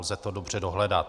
Lze to dobře dohledat.